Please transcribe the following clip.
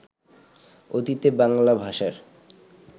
অতীতে বাংলা ভাষার